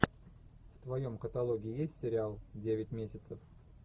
в твоем каталоге есть сериал девять месяцев